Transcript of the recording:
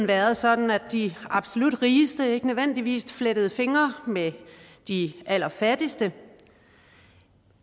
været sådan at de absolut rigeste ikke nødvendigvis flettede fingre med de allerfattigste